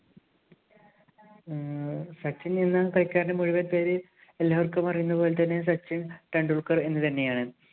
ഉം സച്ചിന്‍ എന്ന കളിക്കാരന്‍റെ മുഴുവന്‍ പേര് എല്ലാവര്‍ക്കും അറിയുന്ന പോലെ തന്നെ സച്ചിന്‍ ടെണ്ടുല്‍ക്കര്‍ എന്ന് തന്നെയാണ്.